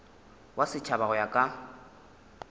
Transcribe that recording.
wa setšhaba go ya ka